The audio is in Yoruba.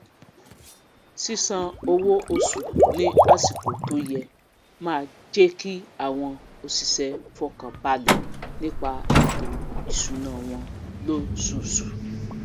sísan owó osù ní àsìkò tó yẹ máá jékí àwọn òsìsé fọkànbalè nípa ètò ìsúná wọn lósusù